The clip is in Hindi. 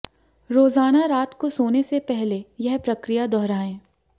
रोजाना रात को सोने से पहले यह प्रक्रिया दोहराएं